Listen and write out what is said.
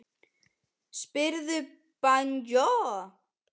Spyrðu Bauju!